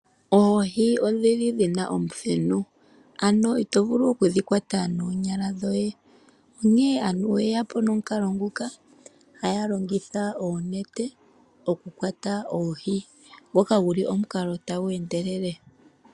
Oohi odhili dhina omuthenu ano ito vulu okudhi kwata noonyala dhoye onke aantu oyeyapo nomukalo nguka haya longitha oonete okukwata oohi ngoka guli omukalo tagu endelele.